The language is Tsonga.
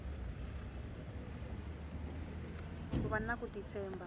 ku vana ku ti tshemba